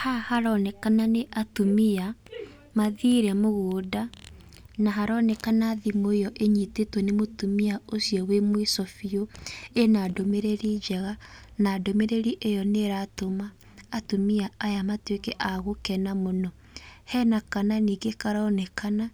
Haha haronekana nĩ atumia mathire mũgũnda, na haronekana thimũ ĩyo ĩnyitĩtwo nĩ mũtumia ũcio wĩ mũico bĩũ ĩna ndũmĩrĩri njega. Na ndũmĩrĩri ĩyo nĩ ĩratũma atumia aya matuĩke a gũkena mũno. Hena kana nĩngĩ karonekana